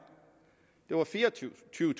det var fireogtyvetusind